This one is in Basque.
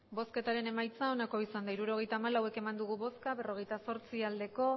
hirurogeita hamalau eman dugu bozka berrogeita zortzi bai